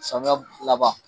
Samiyɛ laban